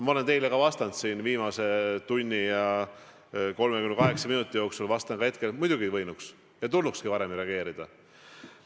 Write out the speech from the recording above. Ma olen teile ka vastanud siin viimase tunni ja 38 minuti jooksul, vastan ka hetkel: muidugi võinuks ja tulnukski varem reageerida.